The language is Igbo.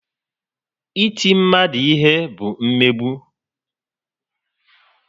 Iti mmadu ihe bụ mmegbu